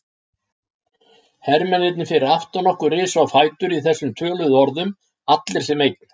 Hermennirnir fyrir aftan okkur risu á fætur í þessum töluðum orðum, allir sem einn.